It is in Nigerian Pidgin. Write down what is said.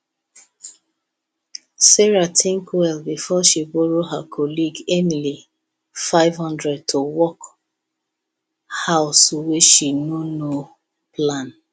sarah think well before she borrow her colleague emily 500 to work house wey she no no plan